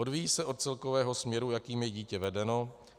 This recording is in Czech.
Odvíjí se od celkového směru, jakým je dítě vedeno.